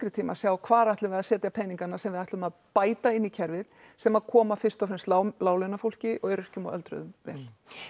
tíma að segja og hvar ætlum við að setja peningana sem við ætlum að bæta inn í kerfið sem að koma fyrst og fremst láglaunafólki og öryrkjum og öldruðum vel